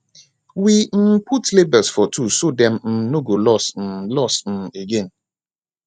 we um put label for tools so dem um no go lost um lost um again